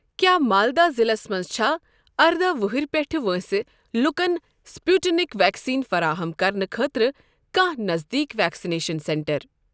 کیٛاہ مالدہ ضلعس مَنٛز چھا ارداہ وُہُر پیٚٹھؠ وٲنٛسہِ لوکَن سٕپُٹنِک ویکسیٖن فراہم کرنہٕ خٲطرٕ کانٛہہ نزدیٖک ویکسِنیشن سینٹر؟